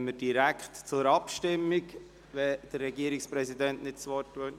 Dann kommen wir direkt zur Abstimmung, sofern nicht der Regierungspräsident das Wort wünscht.